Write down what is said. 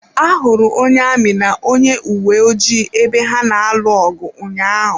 Ahụrụ onye amị na onye uwe ojii ebe ha na-alụ ọgụ ụnyaahụ.